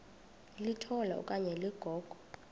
litola okanye ligogo